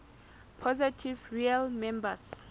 positive real numbers